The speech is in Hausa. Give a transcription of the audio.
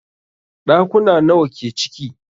Ɗakuna nawa ke ciki?